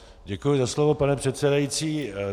Děkuji za slovo, pane předsedající.